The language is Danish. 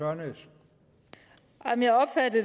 er noget